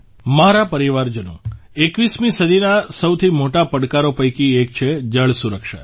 મારા પરિવારજનો ૨૧મી સદીના સૌથી મોટા પડકારો પૈકી એક છે જળ સુરક્ષા